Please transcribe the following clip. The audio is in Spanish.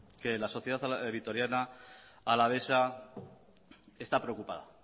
que la sociedad vitoriana alavesa está preocupada